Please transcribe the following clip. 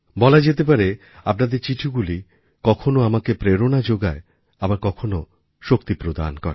বলা যেতে পারে আপনাদের চিঠিগুলি কখনও আমাকে প্রেরণা যোগায় আবার কখনও শক্তি প্রদান করে